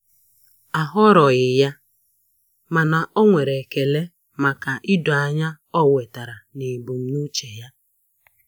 Ahọrọghị ya, mana o nwere ekele maka idoanya o wetara na ebumnuche ya